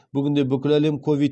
бүгінде бүкіл әлем ковид